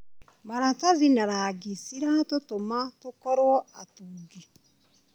Maratathi na rangi ciratũtũma tũkorwo atungi.